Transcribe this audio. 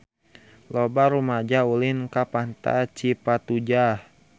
Loba rumaja ulin ka Pantai Cipatujah